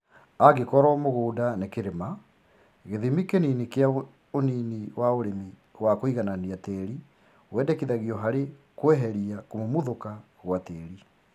Angĩkorwo mũgũnda nĩ kĩrĩma, gĩthimi kĩnini kĩa unini wa ũrĩmi wa kũiganania tĩri wendekithagio harĩ kweheria kũmumuthũka gwa tĩri